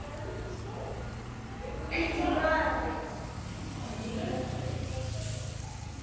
Ekki barist.